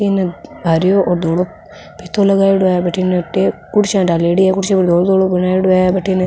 इन हरयो और धोलो फीतों लगायेडो है भटीने कुर्सियां ढालेडी है कुर्सियां पर धोलो धोलो बनायेडो है भटीने --